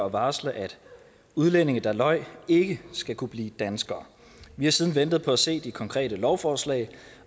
at varsle at udlændinge der løj ikke skal kunne blive danskere vi har siden ventet på at se det konkrete lovforslag